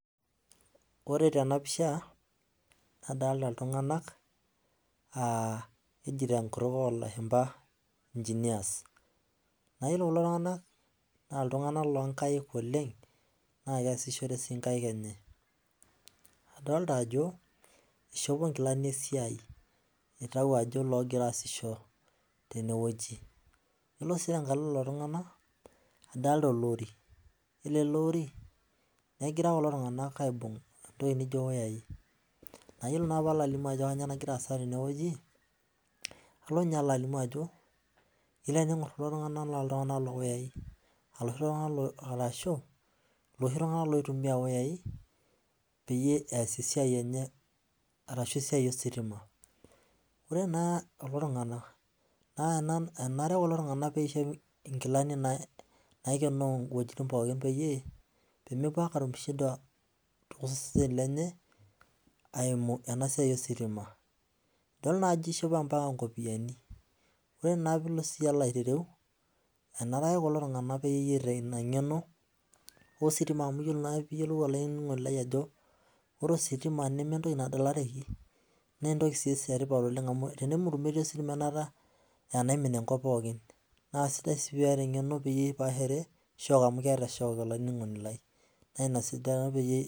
Ore tenapisha nadolta ltunganak aa keji tenkutuk olashumba engineers na ore kulo tunganak na ltunganak linkaik oleng na keeasishore nkaik enye oleng na nadolta ajo itauo nkilani esiai na kegira aasisho tenewueji ore si enkalo loltunganak adolta olori ore elori negira kulo tunganak aibung ntokitin naijo wayai na ore palo alimu ajo kanyio nagira aasa tenewueji alo alimu ajo ore peingur kulo tunganak na loshi tunganak oitumia wayai peas esiai enye arashu esiai ositima na ore kulo tunganak enare nishop nkilani naikenoo wuejitin pooki pemepuo ake atum shida tosesenj lenye eimu ositima ore na pilo aitwreu enare ake kulo tunganak peeta inangeno amu ore ositima meentoki nadalarareki na entoki etipat enemut metii ositima anaata na kesidai si pipaashare amu keeta shock olaininingoni lai na ina peyie